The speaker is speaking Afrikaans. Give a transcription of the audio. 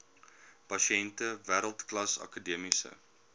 pasiënte wêreldklas akademiese